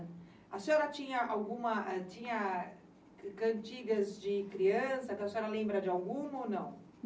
A senhora tinha alguma tinha cantigas de criança que a senhora lembra de alguma ou não?